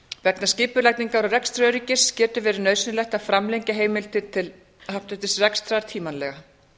vegna skipulagningar og rekstraröryggis getur verið nauðsynlegt að framlengja heimildir til happdrættisrekstrar tímanlega